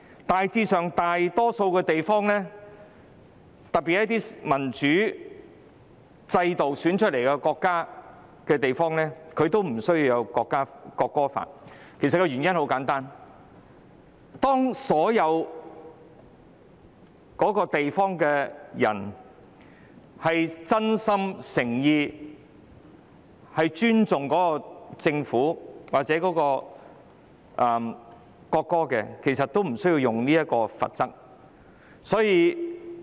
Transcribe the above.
大致上，大多數地區，特別是設有民主選舉制度的國家或地區都不設國歌法，原因很簡單，當一個地區的人民真心誠意尊重政府或國歌，便無須使用任何罰則。